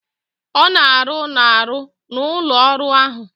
Ọ na-arụ n'arụ n'ụlọ ọrụ ahụ.